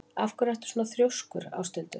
Af hverju ertu svona þrjóskur, Áshildur?